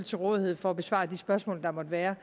til rådighed for at besvare de spørgsmål der måtte være